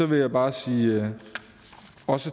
vil jeg bare sige